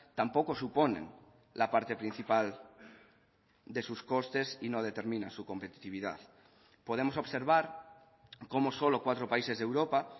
tampoco suponen la parte principal de sus costes y no determina su competitividad podemos observar como solo cuatro países de europa